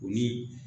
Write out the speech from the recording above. O ni